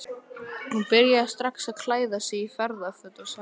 Hann byrjaði strax að klæða sig í ferðaföt og sagði